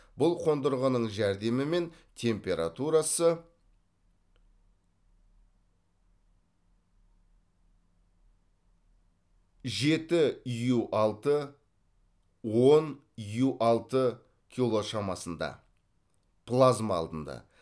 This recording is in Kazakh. бұл қондырғының жәрдемімен температурасы жеті ю алты он ю алты кило шамасында плазма алынды